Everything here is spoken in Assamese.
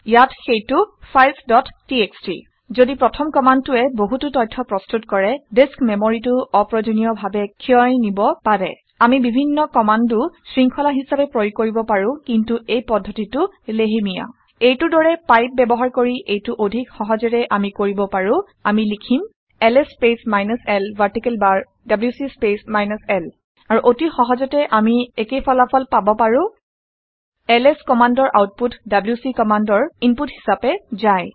ইয়াত সেইটো - ফাইলছ ডট টিএক্সটি ঘদি প্ৰথম কামাণ্ডটোৱে কিছু বহুতো তথ্য প্ৰস্তুত কৰে ডিচ্ক মেমৰীটো অপ্ৰয়োজনীয় ডাৱে ক্ষয় নিব পাৰে। আমি বিভিন্ন কামাণ্ডো শৃং্খলা হিচাবে প্ৰয়োগ কৰিব পাৰোঁ কিন্তু এই পদ্ধতিটো লেহেমীয়া। এইটোৰ দৰে পাইপ ব্যৱহাৰ কৰি এইটো অধিক সহজেৰে আমি কৰিব পাৰো। আমি লিখিম - L S space minus l vertical bar W C space minus l আৰু অতি সহজতে আমি একোফল একে ফলাফল পাব পাৰো। এলএছ কমাণ্ডৰ আউটপুট ডব্লিউচি কমাণ্ডৰ ইনপুট হিচাপে যায়